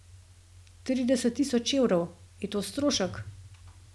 Trideset tisoč evrov, je to strošek?